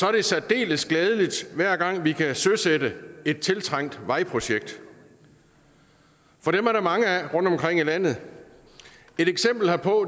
er det særdeles glædeligt hver gang vi kan søsætte et tiltrængt vejprojekt for dem er der mange af rundtomkring i landet et eksempel herpå